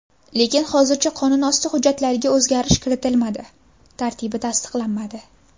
Lekin hozircha qonunosti hujjatlariga o‘zgarish kiritilmadi, tartibi tasdiqlanmadi.